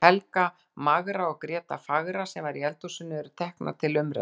Helga magra og Gréta fagra, sem var í eldhúsinu, eru teknar til umræðu.